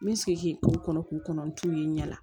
N bɛ segin k'e to o kɔnɔ k'u kɔnɔ n t'u ye n ɲɛ na